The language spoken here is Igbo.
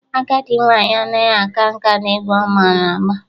Agadị nwaanyị adịghị aka nka n'egwu ọ mara agba.